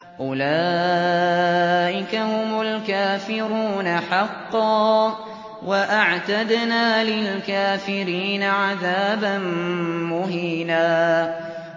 أُولَٰئِكَ هُمُ الْكَافِرُونَ حَقًّا ۚ وَأَعْتَدْنَا لِلْكَافِرِينَ عَذَابًا مُّهِينًا